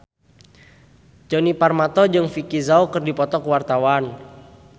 Djoni Permato jeung Vicki Zao keur dipoto ku wartawan